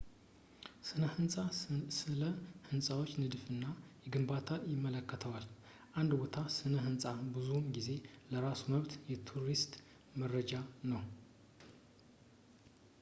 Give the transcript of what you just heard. ስነ-ህንፃ ስለ ህንፃዎች ንድፍ እና ግንባታ ይመለከተዋል የአንድ ቦታ ስነ-ህንፃ ብዙውን ጊዜ በራሱ መብት የቱሪስት መዳረሻ ነው